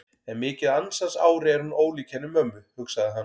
En mikið ansans ári er hún ólík henni mömmu, hugsaði hann.